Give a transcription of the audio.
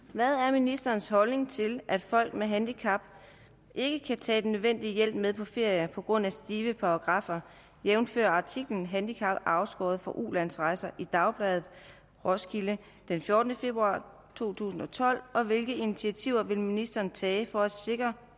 hvad er ministerens holdning til at folk med handicap ikke kan tage den nødvendige hjælp med på ferie på grund af stive paragraffer jævnfør artiklen handicappede afskåret fra udlandsrejser i dagbladet roskilde den fjortende februar to tusind og tolv og hvilke initiativer vil ministeren tage for at sikre